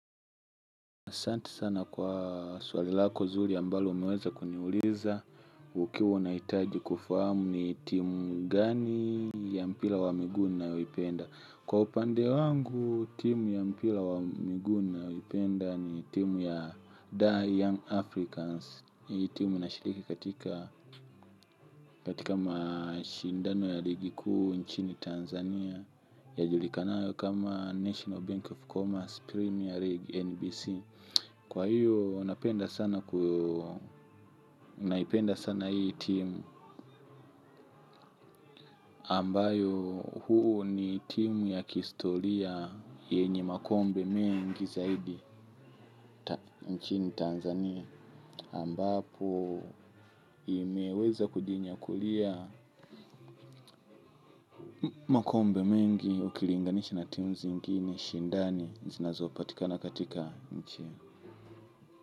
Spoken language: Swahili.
Asante sana kwa swali lako zuri ambalo umeweza kuniuliza ukiwa unahitaji kufahamu ni timu gani ya mpira wa miguu ninayoipenda. Kwa upande wangu timu ya mpira wa miguu nayayoipenda ni timu ya The Young Africans. Timu inashiliki katika mashindano ya ligi kuu nchini Tanzania Yajulikanao kama National Bank of Commerce Premier League NBC. Kwa hiyo naipenda sana hii timu ambayo huu ni timu ya kihistoria yenye makombe mengi zaidi nchini Tanzania ambapo imeweza kujinyakulia makombe mengi ukilinganishi na timu zengini shindani zinazopatikana katika nchini.